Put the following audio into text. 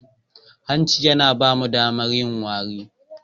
Hanci yana ba mu damar yin wari.